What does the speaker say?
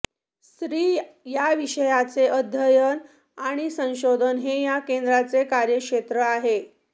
स्त्री या विषयाचे अध्ययन आणि संशोधन हे या केंद्राचे कार्यक्षेत्र आहे